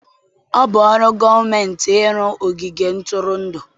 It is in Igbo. Ọ bụ ọrụ gọọmentị ịrụ ogige ntụrụndụ.